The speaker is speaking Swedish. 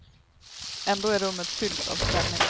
Ändå är rummet fyllt av spänning.